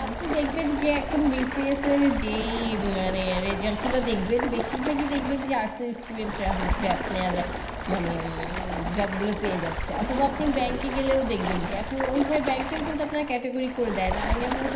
আপনি দেখবেন যে এখন BCS এর result গুলো দেখবেন বেশিরভাগই দেখবেন যে arts এর student রা হচ্ছে আপনার মানে উম job গুলো পেয়ে যাচ্ছে। অথবা আপনি bank গেলেও দেখবেন যে এখন ওইভাবে bank ও কিন্তু আপনার category করে দেয় না।